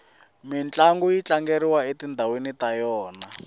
mintlangu yi tlangeriwa etindhawini ta yona